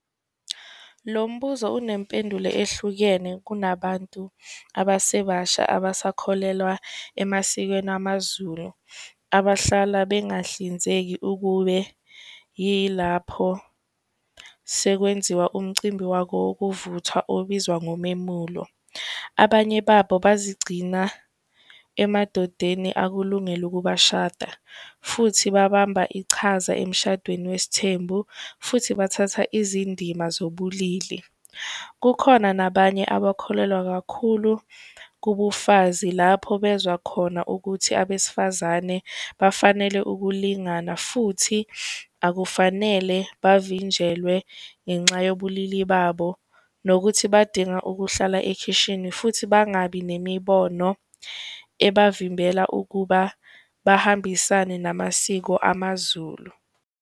Lo mbuzo unempendulo ehlukene kunabantu abasebasha abasakholelwa emasikweni amaZulu, abahlala bengahlinzeka ukube yilapho sekwenziwa umcimbi wako wokuvuthwa obizwa ngomemulo. Abanye babo bazigcina emadodeni akulungele ukubashada futhi babamba ichaza emshadweni wesithembu, futhi bathatha izindima zobulili. Kukhona nabanye abakholelwa kakhulu kubufazi lapho bezwa khona ukuthi abesifazane bafanele ukulingana, futhi akufanele bavinjelwe ngenxa yobulili babo. Nokuthi badinga ukuhlala ekhishini futhi bangabi nemibono, ebavimbela ukuba bahambisane namasiko amaZulu.